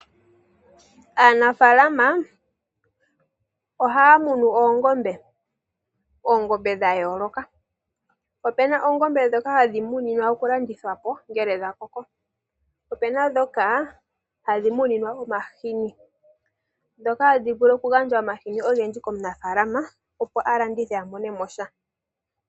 Aanafalama ohaya munu oongombe, oongombedha yooloka. Opena oongombe dhoka hadhi muninwa okulandithwapo ngele dha koko, po opena dhoka hadhi muninwa omahini. Dhoka hadhi vulu okugandja omahini ogendji komunafalama, opo a landithe a monemo sha.